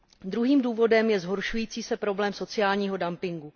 Druhým důvodem je zhoršující se problém sociálního dumpingu.